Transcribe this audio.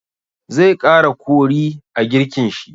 Zai ƙara kori a girkin shi.